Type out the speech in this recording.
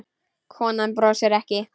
Konan brosir ekki.